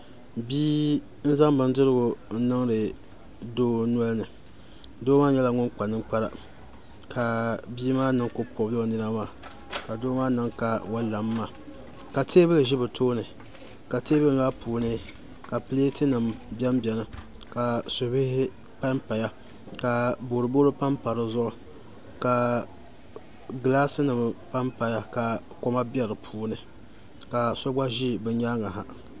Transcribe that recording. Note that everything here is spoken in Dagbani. Bia n zaŋ bindirigu niŋdi doo nolini doo maa kpala ninkpara ka bia maa niŋ ka o pobila o nina maa ka doo maa niŋ ka o lami maa ka teebuli ʒi bi tooni ka teebuli maa puuni pileet nim biɛni biɛni ka subihi panpaya ka boroboro panpa dizuɣu ka gilaas nim panpaya ka koma bɛ di puuni ka so gba ʒi bi nyaangi ha